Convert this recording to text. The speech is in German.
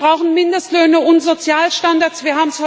Und wir brauchen Mindestlöhne und Sozialstandards.